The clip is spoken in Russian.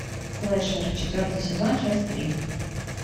слэшер четвертый сезон часть три